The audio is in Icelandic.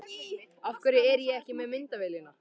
Af hverju er ég ekki með myndavélina?